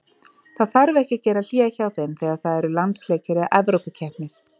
Það þarf ekki að gera hlé hjá þeim þegar það eru landsleikir eða evrópukeppnir.